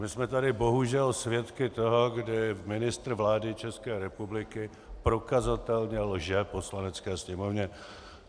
My jsme tu bohužel svědky toho, kdy ministr vlády České republiky prokazatelně lže Poslanecké sněmovně.